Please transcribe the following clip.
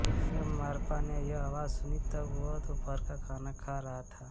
जब मार्पा ने यह आवाज सुनी तब वह दोपहर का खाना खा रहा था